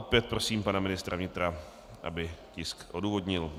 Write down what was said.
Opět prosím pana ministra vnitra, aby tisk odůvodnil.